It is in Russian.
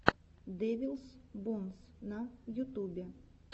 дэвилс бонс на ютубе